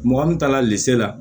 Mɔgɔ min taala lise la